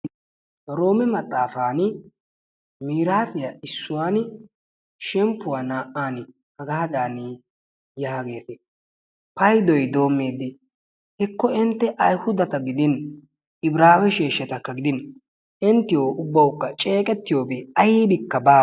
oroome maxaafaani miraafiyaa issuwaani shemppuwaa naa"ani hagaadani yaagees. paydoy doommidi heekko intte ayhuudata gidin ibraawe sheeshatakka gidin inttiyoo ubbawukka ceeqqetiyoobi aybikka baawa.